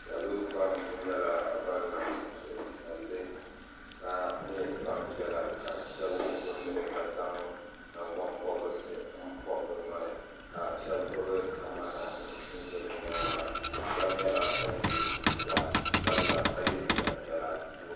Salo pam kuli nyɛla bini niŋ suhupiɛlli ka nyɛ gbaŋ piɛlla ka shɛba wuɣi bi nuhi ka zaŋ nangbani pɔbirisi m pɔbi bi noli ka shɛba gbubi kamara nima n zɛ bi yɛanga shɛba nyɛla bini ye liiga sabila ka ye liiga piɛlla puuni.